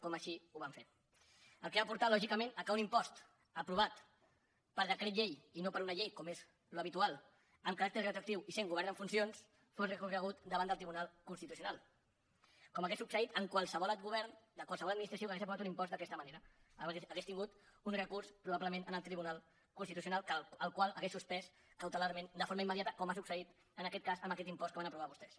com així ho van fer cosa que ha portat lògicament que un impost aprovat per decret llei i no per una llei com és l’habitual amb caràcter retroactiu i sent govern en funcions fos recorregut davant del tribunal constitucional com hauria succeït amb qualsevol govern de qualsevol administració que hagués aprovat un impost d’aquesta manera hauria tingut un recurs probablement al tribunal constitucional el qual l’hauria suspès cautelarment de forma immediata com ha succeït en aquest cas amb aquest impost que van aprovar vostès